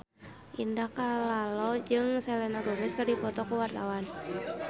Indah Kalalo jeung Selena Gomez keur dipoto ku wartawan